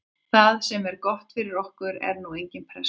Það sem er gott fyrir okkur er að nú er engin pressa.